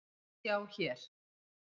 Sjá hér.